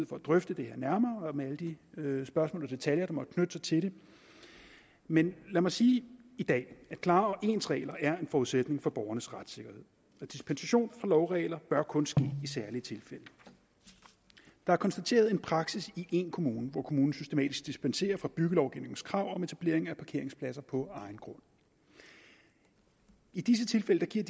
for at drøfte det her nærmere med alle de spørgsmål og detaljer der måtte knytte sig til det men lad mig sige i dag at klare og ens regler er en forudsætning for borgernes retssikkerhed og dispensation fra lovregler bør kun ske i særlige tilfælde der er konstateret en praksis i én kommune hvor kommunen systematisk dispenserer fra byggelovgivningens krav om etablering af parkeringspladser på egen grund i disse tilfælde gives